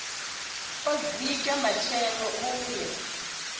u dzika matshelo u ye